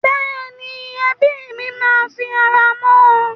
Bẹ́ẹ̀ni, ẹbí mi máa fi ara mọ́ ọn.